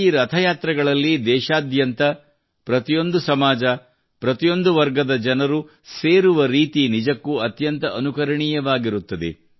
ಈ ರಥಯಾತ್ರೆಗಳಲ್ಲಿ ದೇಶಾದ್ಯಂತ ಪ್ರತಿಯೊಂದು ಸಮಾಜ ಪ್ರತಿಯೊಂದು ವರ್ಗದ ಜನರು ಸೇರುವ ರೀತಿ ನಿಜಕ್ಕೂ ಅತ್ಯಂತ ಅನುಕರಣೀಯವಾಗಿರುತ್ತದೆ